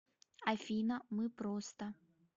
афина мы просто